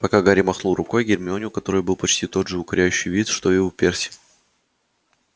пока гарри махнул рукой гермионе у которой был почти тот же укоряющий вид что и у перси